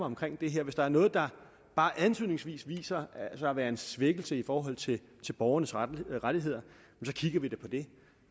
omkring det her hvis der er noget der bare antydningsvis viser sig at være en svækkelse i forhold til borgernes rettigheder rettigheder så kigger vi da på det